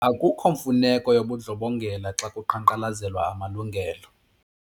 Akukho mfuneko yobundlobongela xa kuqhankqalazelwa amalungelo.